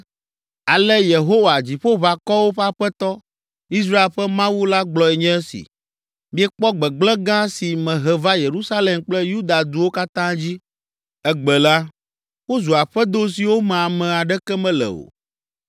“Ale Yehowa, Dziƒoʋakɔwo ƒe Aƒetɔ, Israel ƒe Mawu la gblɔe nye esi: Miekpɔ gbegblẽ gã si mehe va Yerusalem kple Yuda duwo katã dzi. Egbe la, wozu aƒedo siwo me ame aɖeke mele o,